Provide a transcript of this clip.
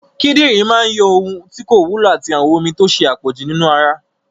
Kidinrin máa yọ ohun tí kò wúlò àti àwọn omi tó ṣe àpọ̀jù nínú ara